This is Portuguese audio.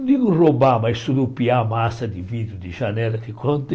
Não digo roubar, mas surupiar a massa de vidro de janela te contei.